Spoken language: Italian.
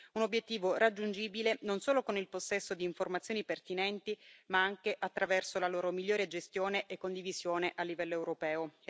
Un obiettivo raggiungibile, non solo con il possesso di informazioni pertinenti, ma anche attraverso la loro migliore gestione e condivisione a livello europeo.